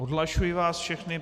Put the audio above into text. Odhlašuji vás všechny.